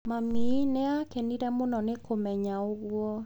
Mami nĩ aakenire mũno nĩ kũmenya ũguo.